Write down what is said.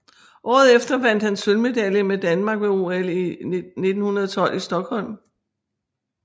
Året efter vandt han sølvmedalje med Danmark ved OL 1912 i Stockholm